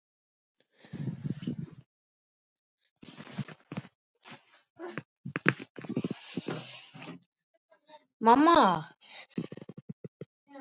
Hún svaf í lokrekkju með börnin þrjú.